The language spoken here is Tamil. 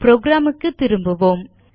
புரோகிராம் க்கு திரும்புவோம்